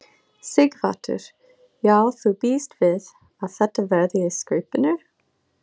Sighvatur: Já þú bíst við að þetta verði í skaupinu?